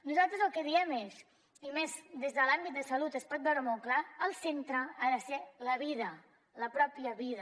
nosaltres el que diem és i més des de l’àmbit de salut es pot veure molt clar el centre ha de ser la vida la mateixa vida